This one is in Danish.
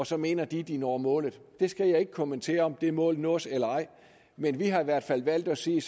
så mener de at de når målet jeg skal ikke kommentere om det mål nås eller ej men vi har i hvert fald valgt at sige